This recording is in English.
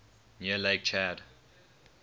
near lake chad